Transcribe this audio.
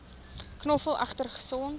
knoffel egter gesond